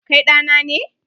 Kai ɗa na ne.